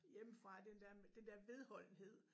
Hjemmefra den der den der vedholdenhed